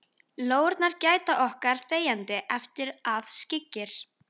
Lóurnar gæta okkar þegjandi eftir að skyggir.